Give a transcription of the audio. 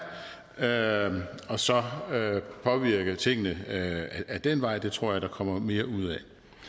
der er og så påvirke tingene ad den vej det tror jeg der kommer mere ud af